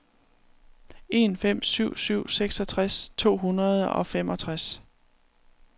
en fem syv syv seksogtres to hundrede og femogtres